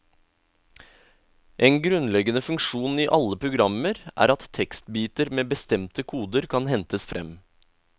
En grunnleggende funksjon i alle programmer er at tekstbiter med bestemte koder kan hentes frem.